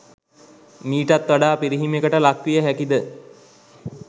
මීටත් වඩා පිරිහීමකට ලක් විය හැකිද?